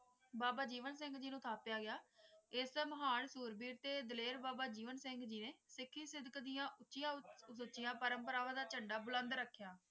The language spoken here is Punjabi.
ਬਾਬਾ ਜੀਵਨ ਸਿੰਘ ਜੀ ਨੂੰ ਸੱਦਿਆ ਗਯਾ ਇਸ ਮੁਹਾਲ ਸੈਰਬੀਰ ਦੇ ਡਾਲਰ ਬਾਬਾ ਜੀਵਨ ਸਿੰਘ ਜੀ ਨੇ ਸਿੱਖੀ ਸਿੱਧ ਦੀਆ ਉੱਚੀਆਂ ਉੱਚੀਆਂ ਪਰਮ ਪਰਵਾਨ ਦਾ ਝੰਡਾ ਬੁਲੰਦ ਰਖ੍ਯ੍ਯਾ